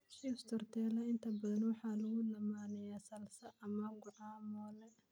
Chips tortilla inta badan waxaa lagu lammaaniyaa salsa ama guacamole.